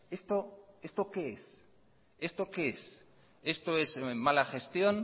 esto qué es esto es mala gestión